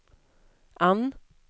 Ann